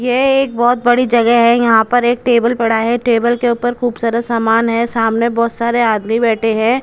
ये एक बहोत बड़ी जगह है यहां पर एक टेबल पड़ा है टेबल के ऊपर खूब सारा सामान है सामने बहोत सारे आदमी बैठे हैं।